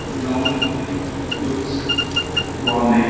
Ground looks బాగున్నాయ్.